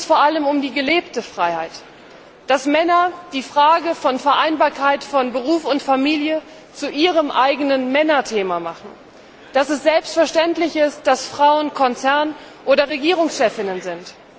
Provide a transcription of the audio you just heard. Heute geht es vor allem um die gelebte Freiheit, dass Männer die Frage der Vereinbarkeit von Beruf und Familie zu ihrem eigenen Männerthema machen, dass es selbstverständlich ist, dass Frauen Konzern oder Regierungschefinnen sind.